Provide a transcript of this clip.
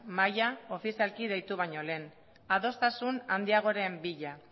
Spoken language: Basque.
mahaia ofizialki deitu baino lehen adostasun handiagoren bila